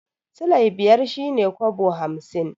Silai biyar shine kobo hamsin